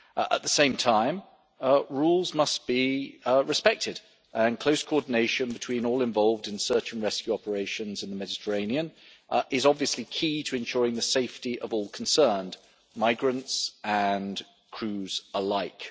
At the same time, rules must be respected, and close coordination between all involved in search and rescue operations in the Mediterranean is obviously key to ensuring the safety of all concerned, migrants and crews alike.